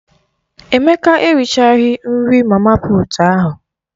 Emeka erichaghi nri mama puut ahụ.